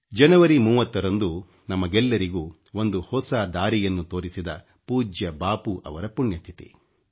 ಜನವರಿ 30 ರಂದು ನಮಗೆಲ್ಲರಿಗೂ ಒಂದು ಹೊಸ ದಾರಿಯನ್ನು ತೋರಿಸಿದ ಪೂಜ್ಯ ಬಾಪೂ ರವರ ಪುಣ್ಯ ತಿಥಿ